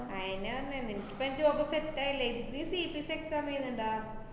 അയന്നെ പറഞ്ഞെ നിനക്കിപ്പം job set ആയില്ലേ? ഇജ് നീ CBSEexam എഴുതിണ്ടാ?